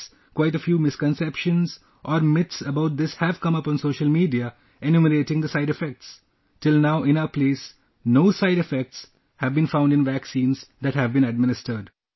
Yes, quite a few misconceptions or myths about this have come up on social media enumerating the side effects ... till now, in our place, no side effects have been found in vaccines that have been administered